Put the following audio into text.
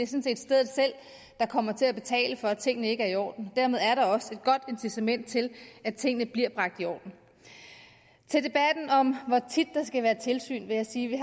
set er stedet selv der kommer til at betale for at tingene ikke er i orden dermed er der også et godt incitament til at tingene bliver bragt i orden til debatten om hvor tit der skal være tilsyn vil jeg sige at vi